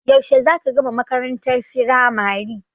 Yaushe za ka gama makarantar firamari?